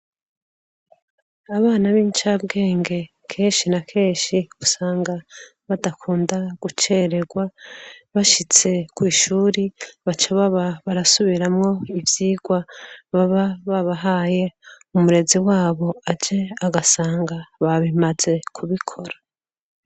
Abana bincabwenge kenshi na kenshi usanga badakunda gucererwa bashitse kwishure baca baba barasubiramwo ivyigwa baba babahaye umurezi wabo aje agasanga babimaze kubikora